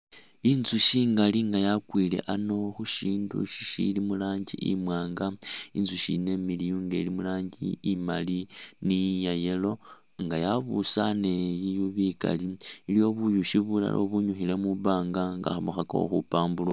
Inzushi ingaali nga yakwile a'ano khushindu shishili murangi imwaanga, inzushi yino imiliyu nga ili murangi imaali ni ya yellow nga yabusaane biyuyi bikali, iliwo buyushi bulala ubunyukhile mubanga nga khabukhakakho khupaburukha